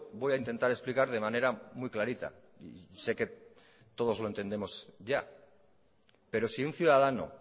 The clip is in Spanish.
voy a intentar explicar de manera muy clarita sé que todos lo entendemos ya pero si un ciudadano